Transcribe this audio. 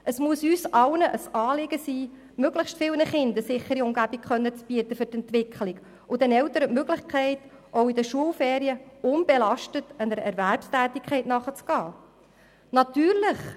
Es muss uns allen ein Anliegen sein, möglichst vielen Kindern, für ihre Entwicklung eine sichere Umgebung zu bieten und den Eltern auch während den Schulferien, die Möglichkeit zu bieten, unbelastet ihrer Erwerbstätigkeit nachzugehen.